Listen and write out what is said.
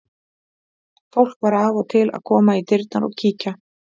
Fólk var af og til að koma í dyrnar og kíkja.